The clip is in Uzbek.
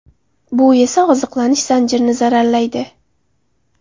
Bu esa oziqlanish zanjirini zararlaydi.